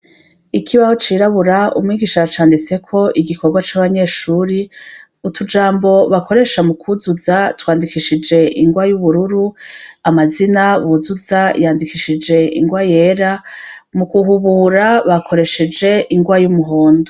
ikihaho ciraburabura umwigisha yacanditseho igikorwa cabanyeshure mutujambo bakoresha mukuzuza batwandishije ngwa yubururu amazina yuzuza yandikshij ingwa yera mu guhubura bakoresheje ingwa yumuhondo.